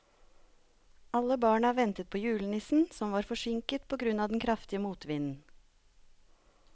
Alle barna ventet på julenissen, som var forsinket på grunn av den kraftige motvinden.